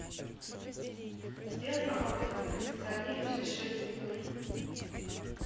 сделай обогрев на кондиционере через шесть минут